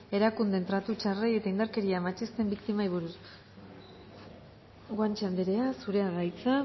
erakundeen tratu txarrei eta indarkeria matxisten biktimei buruz guanche andrea zurea da hitza